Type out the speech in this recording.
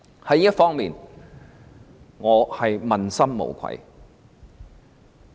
在這方面，我問心無愧。